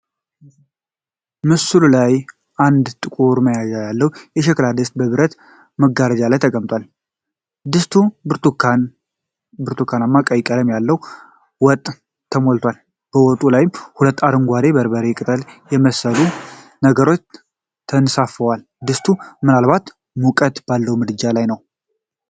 ምስሉ ላይ አንድ ጥቁር መያዣ ያለው የሸክላ ድስት በብረት መጋገሪያ ላይ ተቀምጧል። ድስቱ ብርቱካንማ-ቀይ ቀለም ባለው ወጥ ተሞልቷል። በወጡ ላይ ሁለት አረንጓዴ የበርበሬ ቅጠል የመሰሉ ነገሮች ተንሳፍፈዋል። ድስቱ ምናልባትም ሙቀት ባለው ምድጃ ላይ ነው።